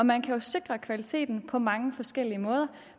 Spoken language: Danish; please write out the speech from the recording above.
man kan jo sikre kvaliteten på mange forskellige måder